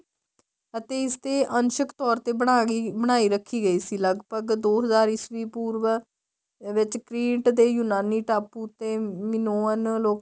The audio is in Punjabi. ਅਤੇ ਇਸ ਦੇ ਅੰਨਸ਼ਕ ਤੋਰ ਤੇ ਬਣਾਈ ਰੱਖੀ ਗਈ ਸੀ ਲੱਗਭਗ ਦੋ ਹਜ਼ਾਰ ਈਸਵੀਂ ਪੂਰਵ ਵਿੱਚ ਦੇ ਯੂਨਾਨੀ ਟਾਪੂ ਤੇ ਮਿਨੋਅਨ ਲੋਕਾਂ